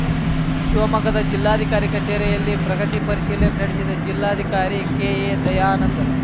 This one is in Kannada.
ಶಿವಮೊಗ್ಗದ ಜಿಲ್ಲಾಧಿಕಾರಿ ಕಚೇರಿಯಲ್ಲಿ ಪ್ರಗತಿ ಪರಿಶೀಲನೆ ನಡೆಸಿದ ಜಿಲ್ಲಾಧಿಕಾರಿ ಕೆಎದಯಾನಂದ್